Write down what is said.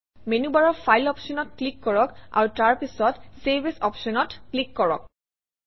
মেনুবাৰৰ ফাইল অপশ্যনত ক্লিক কৰক আৰু তাৰপিছত চেভ এএছ অপশ্যনত ক্লিক কৰক